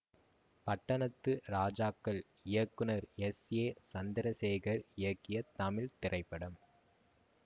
பட்டணத்து ராஜாக்கள் இயக்குனர் S A Chandrasekhar இயக்கிய தமிழ் திரைப்படம்